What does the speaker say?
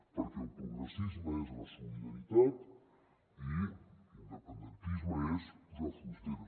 perquè el progressisme és la solidaritat i independentisme és posar fronteres